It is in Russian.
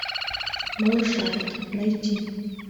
малышарики найти